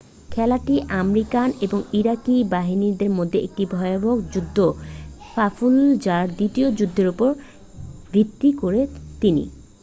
খেলাটি আমেরিকান ও ইরাকি বাহিনীর মধ্যে একটি ভয়াবহ যুদ্ধ ফাল্লুজার দ্বিতীয় যুদ্ধের উপর ভিত্তি করে তৈরি